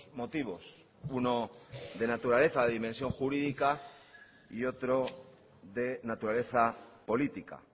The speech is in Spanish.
motivos uno de naturaleza de dimensión jurídica y otro de naturaleza política